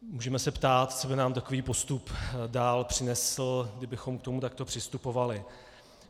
Můžeme se ptát, co by nám takový postup dál přinesl, kdybychom k tomu takto přistupovali.